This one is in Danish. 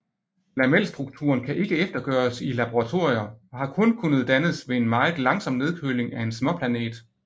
Lamelstrukturen kan ikke eftergøres i laboratorier og har kun kunnet dannes ved en meget langsom nedkøling af en småplanet